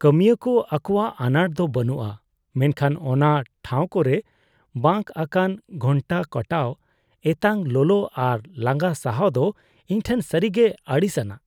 ᱠᱟᱹᱢᱤᱭᱟᱹ ᱠᱚ ᱟᱠᱚᱣᱟᱜ ᱟᱱᱟᱴ ᱫᱚ ᱵᱟᱹᱱᱩᱜᱼᱟ, ᱢᱮᱱᱠᱷᱟᱱ ᱚᱱᱟ ᱴᱷᱟᱶ ᱠᱚᱨᱮ ᱵᱟᱸᱠ ᱟᱠᱟᱱ ᱜᱷᱚᱱᱴᱟ ᱠᱟᱴᱟᱣ, ᱮᱛᱟᱜ ᱞᱚᱞᱚ ᱟᱨ ᱞᱟᱸᱜᱟ ᱥᱟᱦᱟᱣ ᱫᱚ ᱤᱧᱴᱷᱮᱱ ᱥᱟᱹᱨᱤᱜᱮ ᱟᱹᱲᱤᱥ ᱟᱱᱟᱜ ᱾